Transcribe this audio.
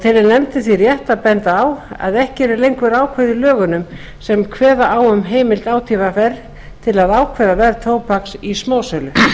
telur nefndin því rétt að benda á að ekki eru lengur ákvæði í lögunum sem kveða á um heimild átvr til að ákveða verð tóbaks í smásölu